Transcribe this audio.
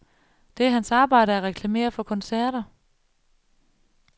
Det er hans arbejde at reklamere for koncerter.